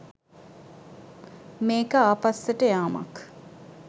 මේක ආපස්සට යාමක්.